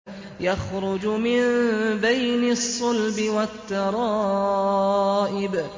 يَخْرُجُ مِن بَيْنِ الصُّلْبِ وَالتَّرَائِبِ